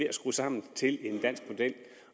at skrue sammen til en dansk model